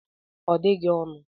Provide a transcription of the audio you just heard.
Ọ dịghị ọnụ